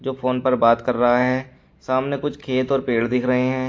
जो फोन पर बात कर रहा है सामने कुछ खेत और पेड़ देख रहे हैं।